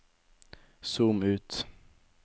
zoom ut